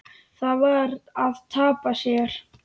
Það var að tapa sér.